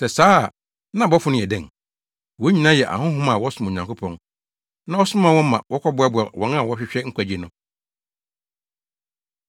Sɛ saa a, na abɔfo no yɛ dɛn? Wɔn nyinaa yɛ ahonhom a wɔsom Onyankopɔn na ɔsoma wɔn ma wɔkɔboa wɔn a wɔrehwehwɛ nkwagye no.